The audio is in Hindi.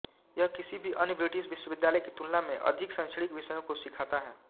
यह किसी भी अन्य ब्रिटिश विश्वविद्यालय की तुलना में अधिक शैक्षणिक विषयों को सिखाता है